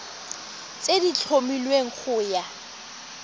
tse di tlhomilweng go ya